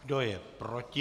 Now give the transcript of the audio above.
Kdo je proti?